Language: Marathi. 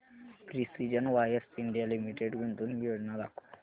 प्रिसीजन वायर्स इंडिया लिमिटेड गुंतवणूक योजना दाखव